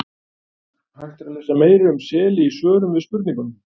Hægt er að lesa meira um seli í svörum við spurningunum: